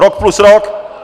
Rok plus rok!